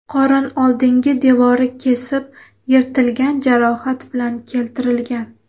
qorin oldingi devori kesib yirtilgan jarohat bilan keltirilgan.